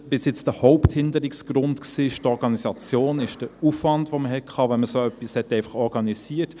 Bis jetzt ist der Haupthinderungsgrund die Organisation, der Aufwand, den man hatte, wenn man so etwas organisierte.